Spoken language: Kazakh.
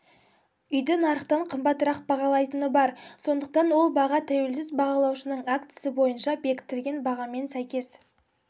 үйді нарықтан қымбатырақ бағалайтыны бар сондықтан ол баға тәуелсіз бағалаушының актісі бойынша бекітілген бағамен сәйкес